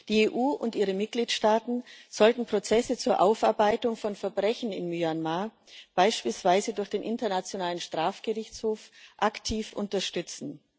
Die EU und ihre Mitgliedstaaten sollten Prozesse zur Aufarbeitung von Verbrechen in Myanmar beispielsweise durch den Internationalen Strafgerichtshof aktiv unterstützen.